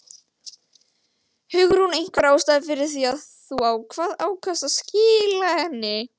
Hugrún: Einhver ástæða fyrir því að þú ákvað, ákvaðst að skila henni?